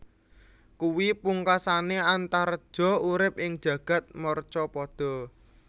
Kuwi pungkasané Antareja urip ing jagad marcapada